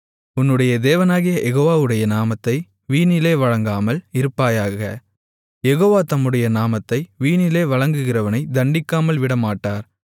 உன்னுடைய தேவனாகிய யெகோவாடைய நாமத்தை வீணிலே வழங்காமல் இருப்பாயாக யெகோவா தம்முடைய நாமத்தை வீணிலே வழங்குகிறவனைத் தண்டிக்காமல் விடமாட்டார்